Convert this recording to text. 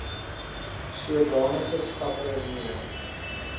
sodanige stappe neem